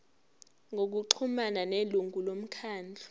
ngokuxhumana nelungu lomkhandlu